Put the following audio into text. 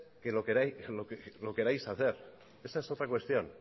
que lo queráis hacer esa es otra cuestión